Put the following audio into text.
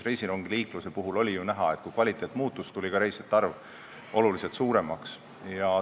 Reisirongiliikluse puhul oli ju näha, et kui kvaliteet muutus, läks ka reisijate arv oluliselt suuremaks.